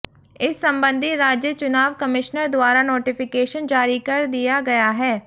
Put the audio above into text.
इस संबंधी राज्य चुनाव कमिशनर द्वारा नोटीफिकेशन जारी कर दिया गया है